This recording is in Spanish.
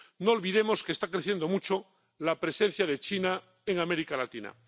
No olvidemos que está creciendo mucho la presencia de China en América Latina.